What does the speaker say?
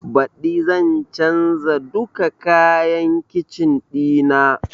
Baɗi zan canza duka kayan kicin ɗina